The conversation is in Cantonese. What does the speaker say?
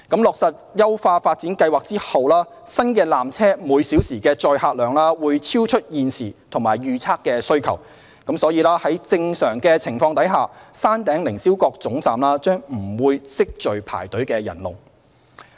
落實優化發展計劃後，新纜車每小時的載客量會超出現時及預測的需求，因此在正常情況下，山頂凌霄閣總站將不會積聚排隊人龍。